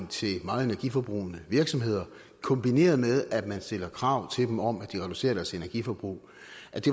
til meget energiforbrugende virksomheder kombineret med at man stiller krav til dem om at de reducerer deres energiforbrug